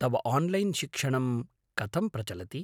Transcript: तव आन्लैन्शिक्षणं कथं प्रचलति?